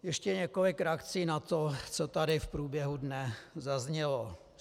Ještě několik reakcí na to, co tady v průběhu dne zaznělo.